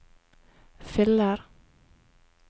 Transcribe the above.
fyller